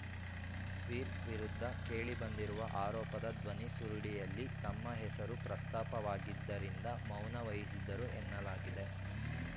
sphere ವಿರುದ್ಧ ಕೇಳಿಬಂದಿರುವ ಆರೋಪದ ಧ್ವನಿಸುರುಳಿಯಲ್ಲಿ ತಮ್ಮ ಹೆಸರೂ ಪ್ರಸ್ತಾಪವಾಗಿದ್ದರಿಂದ ಮೌನ ವಹಿಸಿದ್ದರು ಎನ್ನಲಾಗಿದೆ